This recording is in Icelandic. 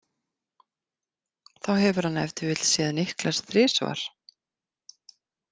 Þá hefur hann ef til vill séð Niklas þrisvar.